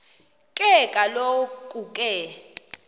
ke kaloku ke